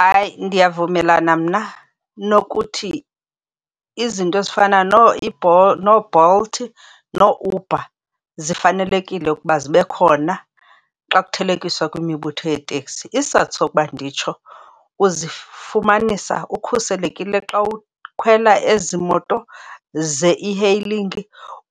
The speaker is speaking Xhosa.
Hayi, ndiyavumelana mna nokuthi izinto ezifana nooBolt nooUber zifanelekile ukuba zibe khona xa kuthelekiswa kwimibutho yeteksi. Isizathu sokuba nditsho uzifumanisa ukhuselekile xa ukhwela ezi moto ze-e-hailing.